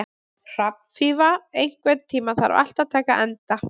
Hrafnfífa, einhvern tímann þarf allt að taka enda.